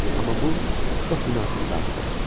Amma bu çox münasib saatdır.